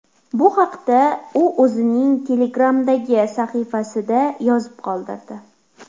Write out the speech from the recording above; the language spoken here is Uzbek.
Bu haqda u o‘zining Telegram’dagi sahifasida yozib qoldirdi .